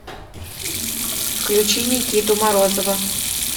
включи никиту морозова